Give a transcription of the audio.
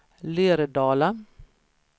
Lerdala